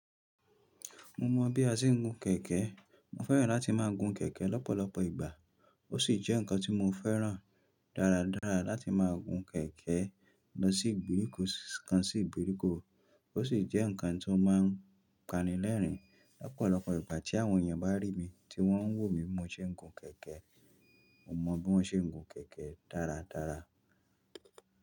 Mo mọọ bí a ṣe ń gun kẹ̀kẹ́. Mo fẹ́ràn láti máa gun kẹ̀kẹ́ lọ́pọ̀lọpọ̀ ìgbà. Ó sì jẹ́ ǹkan tí mo fẹ́ràn dáradára láti máa gun kẹ̀kẹ́ lọ sí ìgbèríko kan sí ìgbèríko. Ó sì jẹ́ ǹkan tí ó máa ń panilẹ́rìn-ín lọ́pọ̀lọpọ̀ ìgbà tí àwọn èèyàn bá rí mi tí wọ́n ń wò mí bimó ṣe ń gun kẹ̀kẹ́. Mo mọ bí wọ́n ṣe ń gun kẹ̀kẹ́ dáradára.